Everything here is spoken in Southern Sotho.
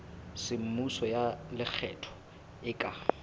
semmuso ya lekgetho e ka